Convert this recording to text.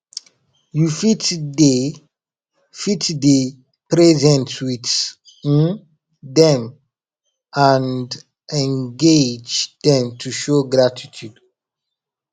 you fit dey fit dey present with um them and engage them to show gratitude